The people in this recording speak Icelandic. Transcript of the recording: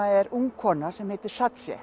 er ung kona sem heitir